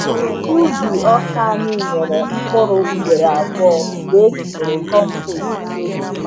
Ubi ọka anyị nyere mkpụrụ ugboro abụọ mgbe etinyere compost eke.